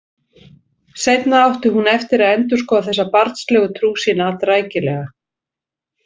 Seinna átti hún eftir að endurskoða þessa barnslegu trú sína allrækilega.